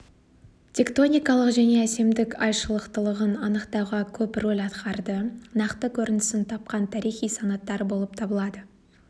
тектоникалық және әсемдік айшылықтылығын анықтауға көп рөл атқарды нақты көрінісін тапқан тарихи санаттар болып табылады